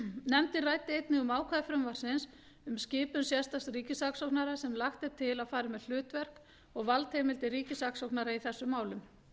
nefndin ræddi einnig um ákvæði frumvarpsins um skipun sérstaks ríkissaksóknara sem lagt er til að fari með hlutverk og valdheimildir ríkissaksóknara í þessum málum